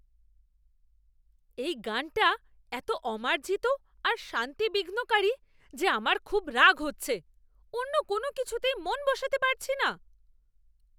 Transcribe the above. এই গানটা এত অমার্জিত আর শান্তি বিঘ্নকারী যে আমার খুব রাগ হচ্ছে। অন্য কোনও কিছুতেই মন বসাতে পারছি না।